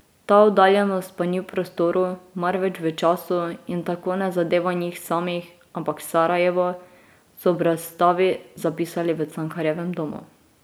Ta oddaljenost pa ni v prostoru, marveč v času in tako ne zadeva njih samih, ampak Sarajevo, so ob razstavi zapisali v Cankarjevem domu.